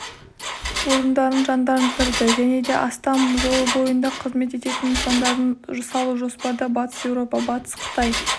орындарын жандандырды және де астам жол бойында қызмет ететін нысандарын салу жоспарда батыс еуропа-батыс қытай